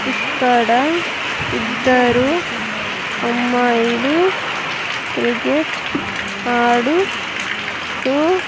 ఇక్కడ ఇద్దరు అమ్మాయిలు క్రికెట్ ఆడు-- తూ.